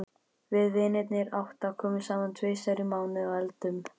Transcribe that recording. Við vinirnir átta komum saman tvisvar í mánuði og eldum.